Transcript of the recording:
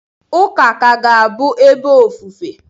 Ụka ka ga-abụ ebe ofufe.